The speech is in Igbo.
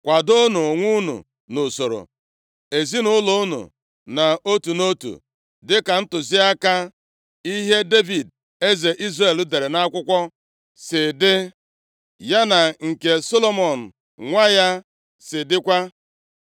Kwadoonụ onwe unu nʼusoro ezinaụlọ unu nʼotu nʼotu, dịka ntụziaka ihe Devid, eze Izrel dere nʼakwụkwọ si dị, ya na nke Solomọn nwa ya si dịkwa.